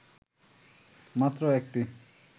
মাত্র ১টি